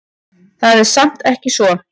Það er samt ekki svo.